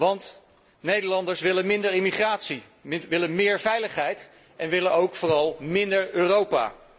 Want Nederlanders willen minder immigratie, willen meer veiligheid en willen ook vooral minder Europa.